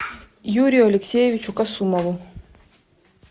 юрию алексеевичу касумову